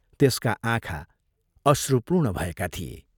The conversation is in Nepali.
त्यसका आँखा अश्रुपूर्ण भएका थिए।